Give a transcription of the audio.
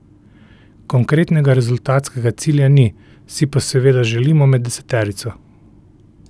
Konkretnega rezultatskega cilja ni, si pa seveda želimo med deseterico.